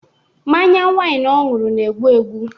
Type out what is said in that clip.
Mmanya waịn ọ ṅụrụ na-egbu ya.